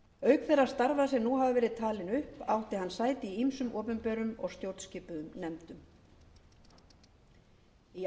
auk þeirra starfa sem nú hafa verið talin átti hann sæti í ýmsum opinberum og stjórnskipuðum nefndum í